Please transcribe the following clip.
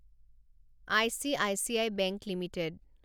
ICICI bank limited